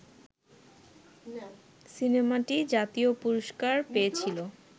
সিনেমাটি জাতীয় পুরস্কার পেয়েছিল